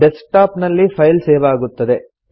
desk top ನಲ್ಲಿ file save ಆಗುತ್ತದೆ